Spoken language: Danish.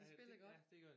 Ja de spiller godt